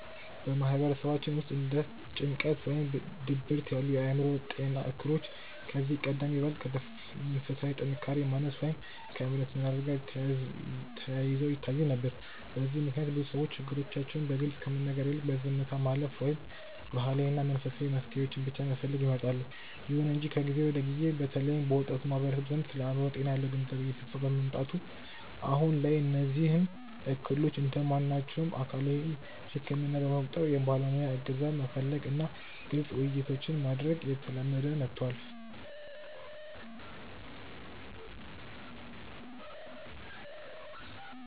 በማህበረሰባችን ውስጥ እንደ ጭንቀት ወይም ድብርት ያሉ የአእምሮ ጤና እክሎች ከዚህ ቀደም ይበልጥ ከመንፈሳዊ ጥንካሬ ማነስ ወይም ከእምነት መላላት ጋር ተያይዘው ይታዩ ነበር። በዚህም ምክንያት ብዙ ሰዎች ችግሮቻቸውን በግልፅ ከመናገር ይልቅ በዝምታ ማለፍን ወይም ባህላዊና መንፈሳዊ መፍትሄዎችን ብቻ መፈለግን ይመርጣሉ። ይሁን እንጂ ከጊዜ ወደ ጊዜ በተለይም በወጣቱ ማህበረሰብ ዘንድ ስለ አእምሮ ጤና ያለው ግንዛቤ እየሰፋ በመምጣቱ፣ አሁን ላይ እነዚህን እክሎች እንደ ማናቸውም አካላዊ ህመም በመቁጠር የባለሙያ እገዛ መፈለግ እና ግልፅ ውይይቶችን ማድረግ እየተለመደ መጥቷል።